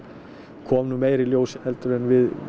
kom nú meira í ljós heldur en við